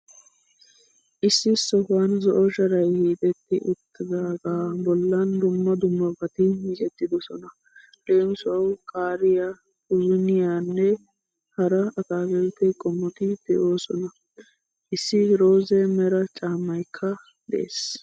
Issi sohuwan zo'o sharay hiixetti uttidaaga bollan dumma dummabati miccettidosona. Leem. Qaariyaa, puzuniyaanne hara atakiltte qommoti de'oosona. Issi rooze meray caammaykka de'ees.